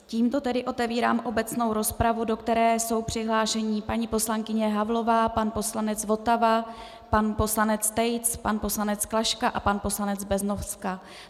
Tímto tedy otevírám obecnou rozpravu, do které jsou přihlášení paní poslankyně Havlová, pan poslanec Votava, pan poslanec Tejc, pan poslanec Klaška a pan poslanec Beznoska.